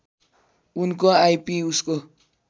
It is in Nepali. उनको आइपी उसको